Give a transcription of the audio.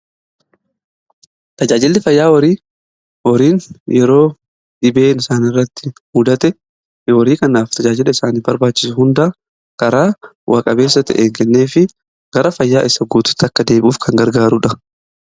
tajaajiilli fayyaa horiin yeroo dhibeen isaan mudate horii kanaaf tajaajilli isaanii barbaachisu hundaa karaa karaa bu'aa qabeessa ta'ee fi gara fayyaa isa guututti akka deebi'uuf kan gargaaruudha.